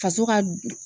Faso ka